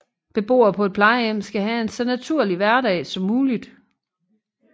Beboer på et plejehjem skal have en så naturlig hverdag som muligt